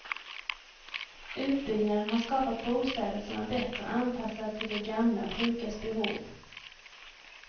Utbyggnaden har skapat bostäder som är bättre anpassade till de gamla och sjukas behov.